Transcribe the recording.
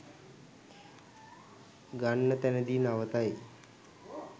ගන්න තැනදී නවතයි